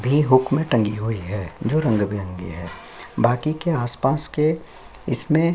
भी हुक में टंगी हुई है जो रंग-बिरंगी है बाकी के आस-पास के इसमें--